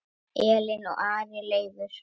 Elín og Ari Leifur.